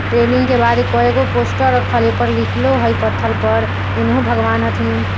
रेलिंग के बाद कएगो पोस्टर रखल हई ओय पर ऊपर लिखलो हई पत्थर पर एनहो भगवान हथीन।